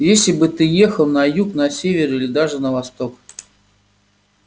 если бы ты ехал на юг на север или даже на восток